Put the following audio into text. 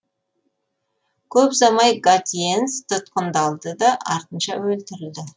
көп ұзамай гатьенс тұтқындалды да артынша өлтірілді